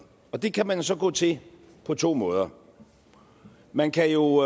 og det kan man så gå til på to måder man kan jo